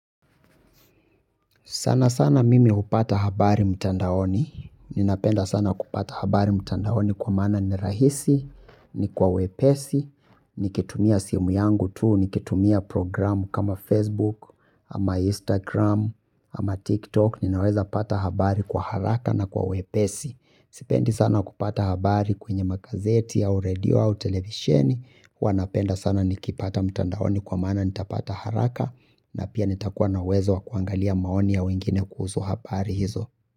Sana sana mimi upata habari mtandaoni, ninapenda sana kupata habari mtandaoni kwa maana ni rahisi, ni kwa wepesi, nikitumia simu yangu tu, nikitumia programu kama Facebook, ama Instagram, ama TikTok, ninaweza pata habari kwa haraka na kwa wepesi. Sipendi sana kupata habari kwenye magazeti au radio au televisheni huwa napenda sana nikipata mtandaoni kwa maana nitapata haraka. Na pia nitakuwa na uwezo wa kuangalia maoni ya wengine kuhusu habari hizo.